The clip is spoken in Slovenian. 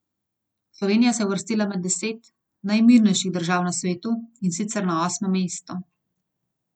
Slovenija se je uvrstila med deset najmirnejših držav na svetu, in sicer na osmo mesto.